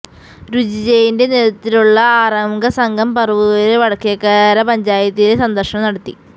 രുചി ജയിൻെറ നേൃതത്വത്തിലുള്ള ആറംഗ സംഘം പറവൂര് വടക്കേക്കര പഞ്ചായത്തില് സന്ദര്ശനം നടത്തി